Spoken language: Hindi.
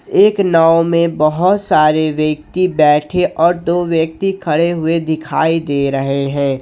एक नाव में बहुत सारे व्यक्ति बैठे और दो व्यक्ति खड़े हुए दिखाई दे रहे हैं।